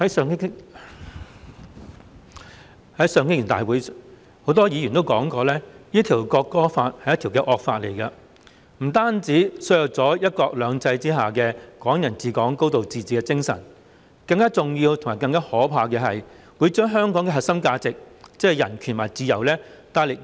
在上星期的會議，很多議員說《國歌條例草案》是一項惡法，不單削弱了"一國兩制"下"港人治港"、"高度自治"的精神，更重要和更可怕的是會嚴重摧毀香港的核心價值，即是人權和自由。